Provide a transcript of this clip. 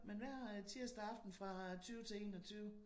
Men hver tirsdag aften fra 20 til 21